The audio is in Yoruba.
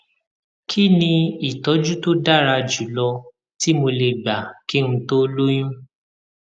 kí ni ìtójú tó dára jù lọ tí mo lè gbà kí n tó lóyún